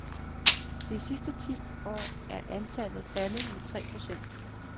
De sidste ti år er antallet faldet med tre procent.